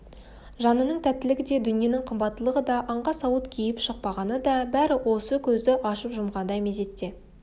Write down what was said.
жанының тәттілігі де дүниенің қымбаттылығы да аңға сауыт киіп шықпағаны да бәрі осы көзді ашып-жұмғандай мезетте